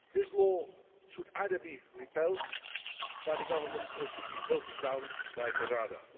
This law should either be repealed by the government or should be voted down by the Rada.